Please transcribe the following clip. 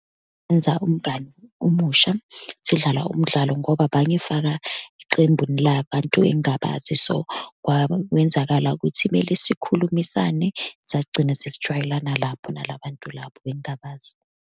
Enza umngani omusha, sidlala umdlalo ngoba bangifaka eqembuni labantu engingabazi. So, kwawenzakala ukuthi kumele sikhulumisane, sagcine sesijwayelana lapho nalabantu labo bengingabazi.